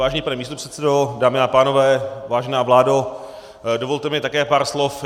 Vážený pane místopředsedo, dámy a pánové, vážená vládo, dovolte mi také pár slov.